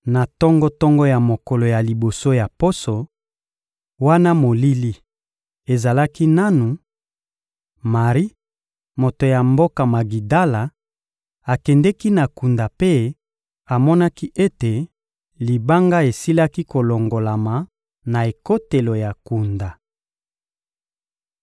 Na tongo-tongo ya mokolo ya liboso ya poso, wana molili ezalaki nanu, Mari, moto ya mboka Magidala, akendeki na kunda mpe amonaki ete libanga esilaki kolongolama na ekotelo ya kunda.